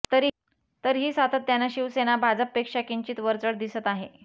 तरीही सातत्यानं शिवसेना भाजपपेक्षा किंचित वरचढ दिसत आहे